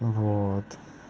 вот